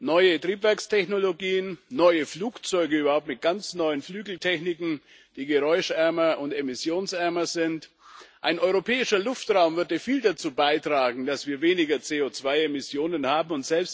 Neue Triebwerkstechnologien, neue Flugzeuge mit ganz neuen Flügeltechniken, die geräuschärmer und emissionsärmer sind Ein europäischer Luftraum würde viel dazu beitragen, dass wir weniger CO2 Emissionen haben.